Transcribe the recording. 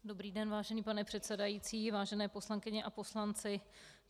Dobrý den, vážený pane předsedající, vážené poslankyně a poslanci.